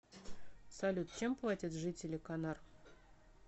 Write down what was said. салют чем платят жители канар